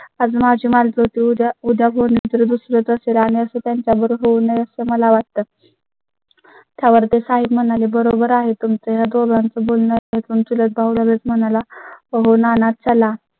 आज माझी मुलगी होती उद्या तर दुसरं च असेल आणि असं त्यांच्या बर होऊ नये असं मला वाटतं. त्यावर ते साहेब म्हणाले, बरोबर आहे तुम चं या दोघांचं बोलणं त्यातून चुलत भाऊ लगेच म्हणाला हो ना त्याला